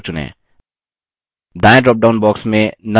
दायें dropdown box में none चुनें